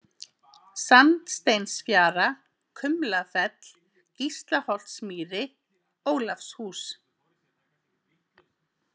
Sandsteinsfjara, Kumlafell, Gíslaholtsmýri, Ólafshús